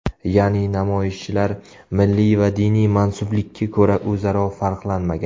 Ya’ni namoyishchilar milliy va diniy mansublikka ko‘ra o‘zaro farqlanmagan.